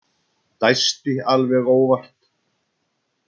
Dæsti alveg óvart.